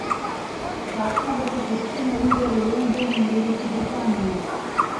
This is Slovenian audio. Kakšna bo zapuščina iger v Londonu in Veliki Britaniji?